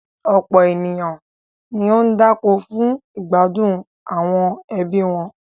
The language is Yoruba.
Ọ̀pọ̀ ènìyàn ni ó ń dáko fún ìgbádùn àwọn ẹbí wọn.